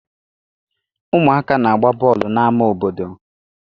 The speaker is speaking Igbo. Ụmụaka na-agba bọọlụ n'ámá obodo.